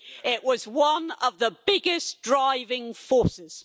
It was one of the biggest driving forces.